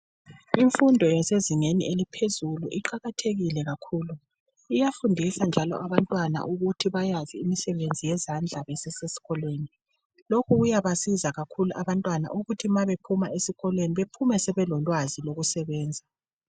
Imfundo esezingeni eliphezulu iqakathekile kakhulu! Iyafundisa njalo abantwana ukuthi bayazi imisebenzi yezandla besesesikolweni. Lokhu kuyabasiza kakhulu abantwana, ukuthi ma bephuma esikolweni, baphume sebelolwazi lokusebenza.